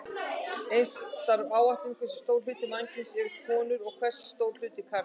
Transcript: Eins þarf að áætla hversu stór hluti mannkyns eru konur og hversu stór hluti karlar.